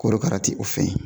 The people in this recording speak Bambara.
Korokara ti o fɛn ye